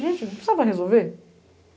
Gente, não precisava resolver?